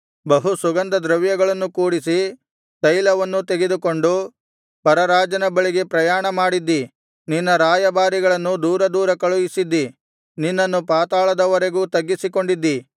ಬಹು ಸುಗಂಧದ್ರವ್ಯಗಳನ್ನು ಕೂಡಿಸಿ ತೈಲವನ್ನೂ ತೆಗೆದುಕೊಂಡು ಪರರಾಜನ ಬಳಿಗೆ ಪ್ರಯಾಣಮಾಡಿದ್ದಿ ನಿನ್ನ ರಾಯಭಾರಿಗಳನ್ನು ದೂರ ದೂರ ಕಳುಹಿಸಿದ್ದಿ ನಿನ್ನನ್ನು ಪಾತಾಳದವರೆಗೂ ತಗ್ಗಿಸಿಕೊಂಡಿದ್ದಿ